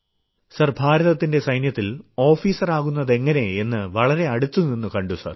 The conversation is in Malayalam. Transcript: സർ ഭാരതത്തിന്റെ സൈന്യത്തിൽ ഓഫീസറാകുന്നതെങ്ങനെ എന്ന് വളരെ അടുത്തുനിന്നു കണ്ടു സർ